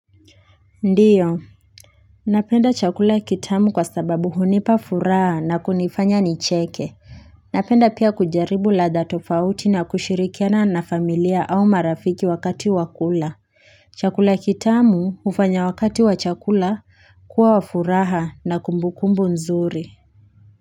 Ndiyo, napenda chakula kitamu kwa sababu hunipa furaha na kunifanya nicheke. Napenda pia kujaribu ladha tofauti na kushirikiana na familia au marafiki wakati wa kula. Chakula kitamu hufanya wakati wa chakula kuwa wa furaha na kumbukumbu nzuri.